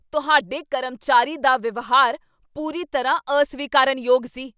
ਤੁਹਾਡੇ ਕਰਮਚਾਰੀ ਦਾ ਵਿਵਹਾਰ ਪੂਰੀ ਤਰ੍ਹਾਂ ਅਸਵੀਕਾਰਨਯੋਗ ਸੀ।